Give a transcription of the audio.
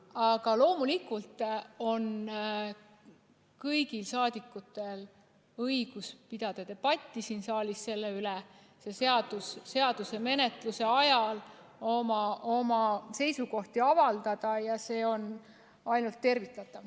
Aga loomulikult on kõigil rahvasaadikutel õigus pidada debatti siin saalis selle üle, seaduse menetlemise ajal oma seisukohti avaldada ja see on ainult tervitatav.